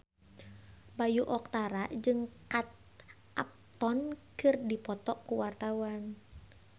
Bayu Octara jeung Kate Upton keur dipoto ku wartawan